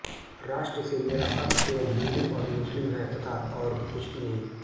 राष्ट्र से मेरा अर्थ केवल हिन्दू और मुस्लिम है तथा और कुछ भी नहीं